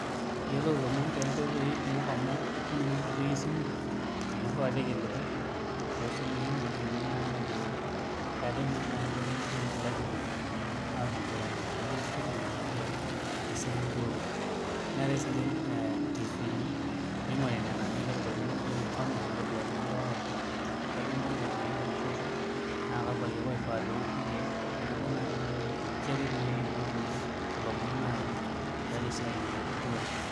Iyolou ilomon tobkoitoi kumok amu eti ninye enkoitoi esimu amu iriwaa rkiliku tosimui nelimuni na ajoveetae na nani enkoitoi ngejuk naigilaki atum tenkoitoi technologia tesiai enturore neeta sinche ntifini ningoritae nena na nitadoliluni toi mfano nitodoluni ajo kaji inkonko piturishosho na kakwa kiek oifaa peoshi irkiek neaku ninche na etumieki nkoitoi tialo esiai enturore